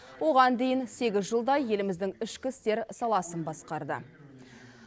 оған дейін сегіз жылдай еліміздің ішкі істер саласын басқарды